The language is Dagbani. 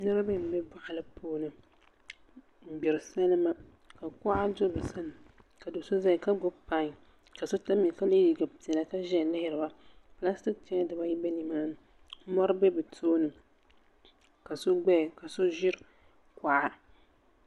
Niraba n ʒi boɣali puuni n gbiri salima ka kuɣa do bi sani ka do so ʒɛya ka gbuni pai ka so tamya ka yɛ liiga piɛlli ka ʒɛya lihiriba pilastik chɛya dibayi bɛ nimaani mori bɛ bi tooni ka so gbaya ka so ʒira kuɣa